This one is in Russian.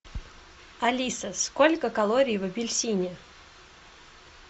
алиса сколько калорий в апельсине